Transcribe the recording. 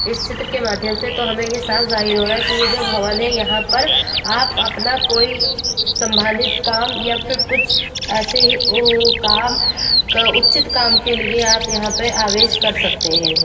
इस चित्र के माध्यम से तो हमें ये साफ जाहिर हो रहा है कि ये जो भवन है यहाँ पर आप अपना कोई संबादित काम या फिर कुछ ऐसे ही ओ काम का उचित काम के लिए आप यहाँ पे आवेश कर सकते हैं।